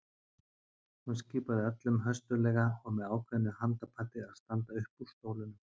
Hún skipaði öllum höstuglega og með ákveðnu handapati að standa upp úr stólunum.